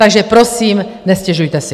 Takže prosím, nestěžujte si.